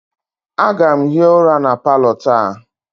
Aga m hie ụra na palọ taa